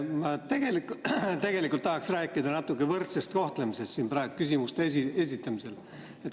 Ma tegelikult tahaksin rääkida natukene võrdsest kohtlemisest küsimuste esitamisel.